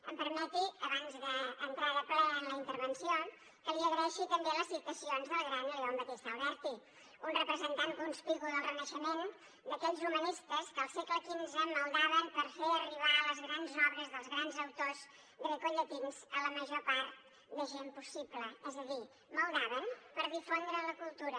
em permeti abans d’entrar de ple en la intervenció que li agraeixi també les citacions del gran leon battista alberti un representant conspicu del renaixement d’aquells humanistes que al segle xv maldaven per fer arribar les grans obres dels grans autors grecollatins a la major part de gent possible és a dir maldaven per difondre la cultura